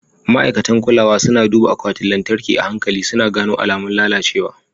Ma'aikatan kulawa suna duba akwatin lantarki a hankali, suna gano alamun lalacewa.